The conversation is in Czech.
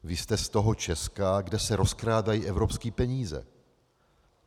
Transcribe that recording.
Vy jste z toho Česka, kde se rozkrádají evropské peníze...